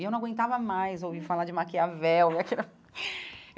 E eu não aguentava mais ouvir falar de Maquiavel.